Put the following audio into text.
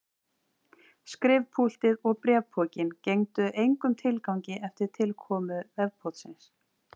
Skrifpúltið og bréfpokinn gengdu engum tilgangi eftir tilkomu vefpóstsins.